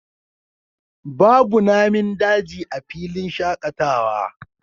Babu Namin daji a filin shakatawa